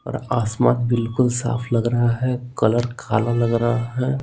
और आसमान बिल्कुल साफ लग रहा है कलर काला लग रहा है।